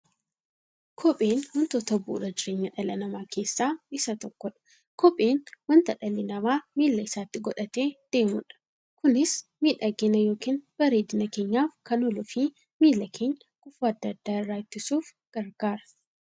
Kopheen wantoota bu'uura jireenya dhala namaa keessaa isa tokkodha. Kopheen wanta dhalli namaa miilla isaatti godhatee deemudha. Kunis miidhagani yookiin bareedina keenyaf kan ooluufi miilla keenya gufuu adda addaa irraa ittisuuf gargaara.